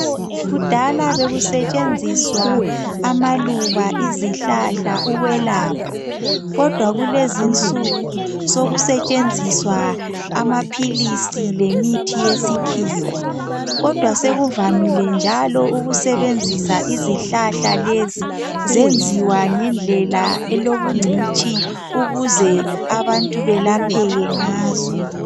Kudaala bekusetshenziswa amaluba izihlahla ukwelapha. Kodwa kulezi insuku sekusetshenziswa amaphilisi lemithi yesikhiwa. Kodwa sekuvamile njalo ukusebenzisa izihlahla lezi zenziwa ngendlela elobungcitshi ukuze abantu belapheke ngazo.